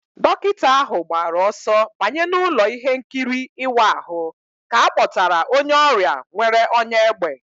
Dọkịta ahụ gbara ọsọ banye n'ụlọ ihe nkiri ịwa ahụ ka a kpọtara onye ọrịa nwere ọnyá égbè